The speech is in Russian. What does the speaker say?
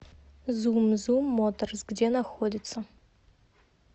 зум зум моторс где находится